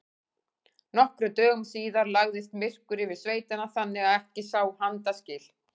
Nokkrum dögum síðar lagðist myrkur yfir sveitina þannig að ekki sá handa skil.